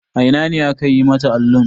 A ina ne aka yi mata allun?